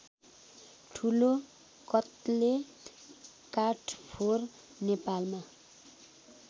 ठुलोकत्ले काठफोर नेपालमा